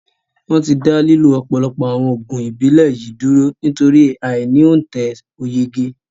Wọn tí dá lílo ọ̀pọ̀lọpọ̀ àwọn Oògùn Ìbílẹ̀ yìí dúró nítorí ai ni ontẹ̀ oyege